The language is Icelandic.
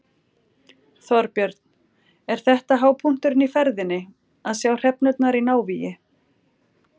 Þorbjörn: Er þetta hápunkturinn í ferðinni, að sjá hrefnurnar í návígi?